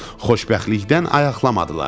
Xoşbəxtlikdən ayaqlamadılar.